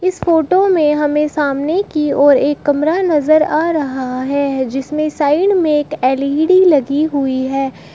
इस फोटो में हमें सामने की ओर एक कमरा नजर आ रहा है जिसमें साइड में एक एल_ई_डी लगी हुई है।